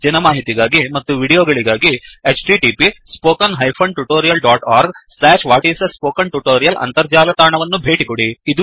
ಹೆಚ್ಚಿನ ಮಾಹಿತಿಗಾಗಿ ಮತ್ತು ವೀಡಿಯೋಗಳಿಗಾಗಿ 1 ಅಂತರ್ಜಾಲ ತಾಣವನ್ನು ಭೇಟಿಕೊಡಿ